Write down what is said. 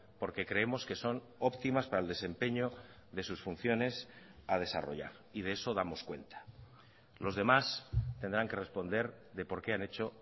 porque creemos que son óptimas para el desempeño de sus funciones a desarrollar y de eso damos cuenta los demás tendrán que responder de por qué han hecho